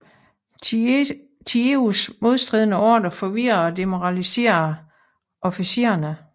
Thieus modstridende ordrer forvirrede og demoraliserede officererne